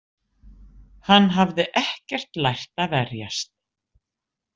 Hann hafði ekkert lært að verjast.